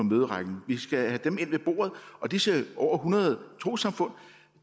møderækken vi skal have dem ind ved bordet disse over hundrede trossamfund